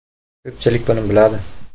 Ko‘pchilik buni biladi.